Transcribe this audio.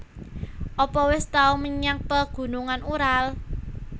Apa wis tau menyang Pegunungan Ural